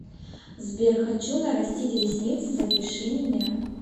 сбер хочу нарастить ресницы запиши меня